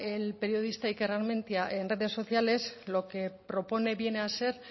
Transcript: el periodista iker armentia en redes sociales lo que propone viene a ser